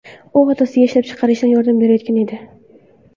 U otasiga ishlab chiqarishda yordam berayotgan edi.